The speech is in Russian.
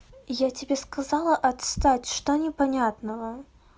я тебе сказала отстать что непонятного